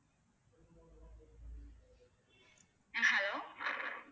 அஹ் hello.